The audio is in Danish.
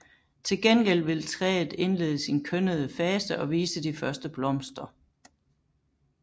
Til gengæld vil træet indlede sin kønnede fase og vise de første blomster